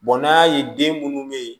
n'an y'a ye den minnu bɛ yen